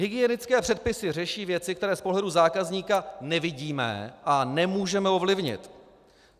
Hygienické předpisy řeší věci, které z pohledu zákazníka nevidíme a nemůžeme ovlivnit.